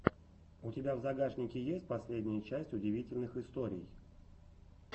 у тебя в загашнике есть последняя часть удивительных историй